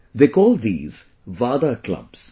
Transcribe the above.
They call these VADA clubs